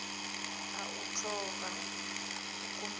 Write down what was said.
a u thola ikumbedzwa ḓo